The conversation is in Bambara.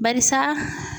Barisa